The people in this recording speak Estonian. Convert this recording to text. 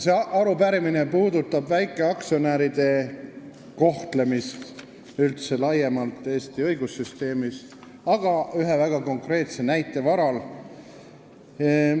See arupärimine puudutab väikeaktsionäride kohtlemist küll Eesti õigussüsteemis laiemalt, aga ühe väga konkreetse näite varal.